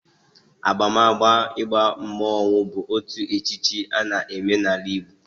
Abamaba ịba mmonwu bụ otu echichi a na eme n'ala Igbo